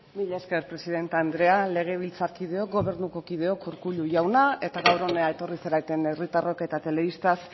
mila esker presidente anderea legebiltzarkideok gobernuko kideok urkullu jauna eta gaur hona etorri zareten herritarrok eta telebistaz